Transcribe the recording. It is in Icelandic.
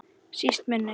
Síst minni.